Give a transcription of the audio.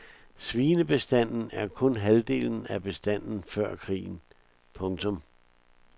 Svinebestanden er kun halvdelen af bestanden før krigen. punktum